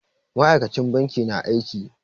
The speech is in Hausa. Ma'aikacin bankin na aiki.